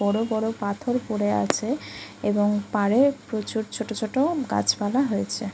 বড় বড় পাথর পড়ে আছে এবং পাড়ে প্রচুর ছোট ছোট গাছপালা হয়েছে।